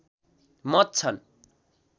मत छन्